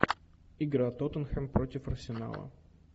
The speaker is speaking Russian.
игра тоттенхэм против арсенала